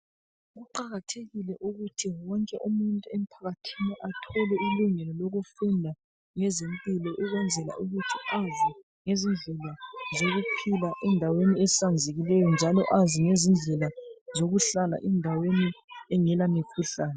Kuqakathekile ukuthi wonke umuntu emphakathini athole ilungelo lokufunda ngezempilo, ukwenzela ukuthi azi ngezindlela zokuphila endaweni ehlanzekileyo njalo azi ngezindlela zokuhlala endaweni engela mikhuhlane.